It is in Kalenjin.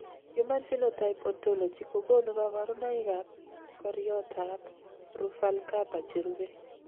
Human Phenotype Ontology kokonu kabarunoikab koriotoab Ruvalcaba cherube.